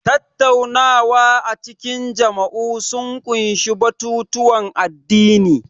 Tattaunawa a cikin majami'u sun ƙunshi batutuwan addini.